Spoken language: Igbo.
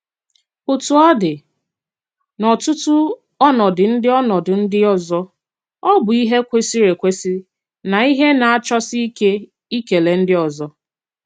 Òtú ọ dị, n'ọ̀tụ̀tù ọnọdụ ndị ọnọdụ ndị ọzọ, ọ bụ̀ ihe kwesìrì ekwesì na ihe na-àchọsì ìkè ìkèlè ndị ọzọ.